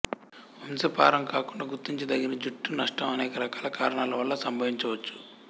వంశపారంకాకుండా గుర్తించదగిన జుట్టు నష్టం అనేక రకాల కారణాలు వల్ల సంభవించవచ్చు